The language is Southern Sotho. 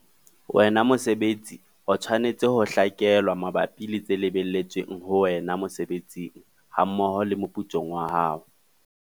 Wena mosebeletsi o tshwanetse ho hlakelwa mabapi le tse lebelletsweng ho wena mosebetsing hammoho le moputsong wa hao.